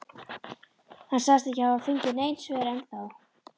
Hann sagðist ekki hafa fengið nein svör ennþá.